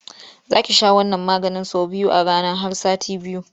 Za ki sha wannan maganin sau biyu a rana har sati biyu.